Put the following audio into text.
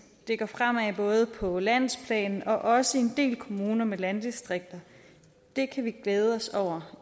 det går fremad både på landsplan og også i en del kommuner med landdistrikter det kan vi glæde os over